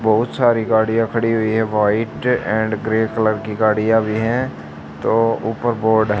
बहुत सारी गाड़ियां खड़ी हुई है व्हाइट एंड ग्रे कलर की गाड़ियां भी है तो ऊपर बोर्ड --